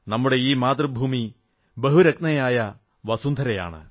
നമ്മുടെ ഈ മാതൃഭൂമി ബഹുരത്നയായ വസുന്ധരയാണ്